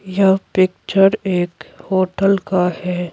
यह पिक्चर एक होटल का है।